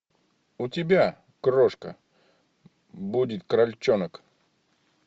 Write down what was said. у тебя крошка будет крольчонок